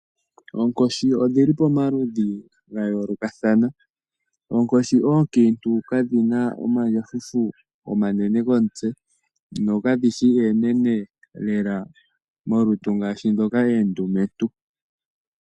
Oonkoshi odhili pamaludhi ga yoolokathana. Oonkoshi oonkiintu kadhina omandjafufu omanene komutse nokadhi shi eenene lela molutu ngaashi ndhoka eendumentu.